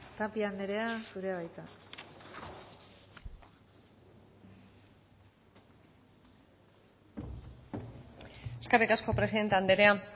tapia andrea zurea da hitza eskerrik asko presidente andrea